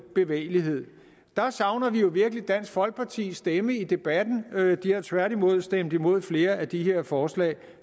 bevægelighed der savner vi jo virkelig dansk folkepartis stemme i debatten de har tværtimod stemt imod flere af de her forslag